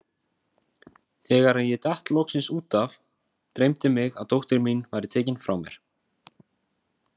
Þegar ég datt loksins út af, dreymdi mig að dóttir mín væri tekin frá mér.